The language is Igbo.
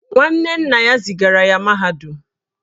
Nwanne nna ya zigara ya mahadum